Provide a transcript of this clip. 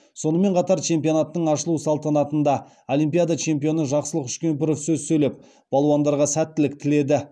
сонымен қатар чемпионаттың ашылу салтанатында олимпиада чемпионы жақсылық үшкемпіров сөз сөйлеп балуандарға сәттілік тіледі